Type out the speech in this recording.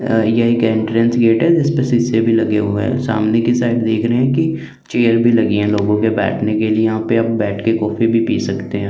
ये एक entrance gate है जिसपे सीसे भी लगे हुए है सामने के साइड देख रहे है की चेयर भी लगे हुए है लोगो के बैठ ने के लिए और बैठ के कॉफी भी पी सकते है।